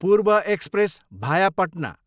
पूर्व एक्सप्रेस, भाया पटना